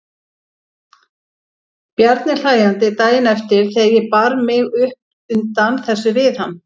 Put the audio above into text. Bjarni hlæjandi daginn eftir þegar ég bar mig upp undan þessu við hann.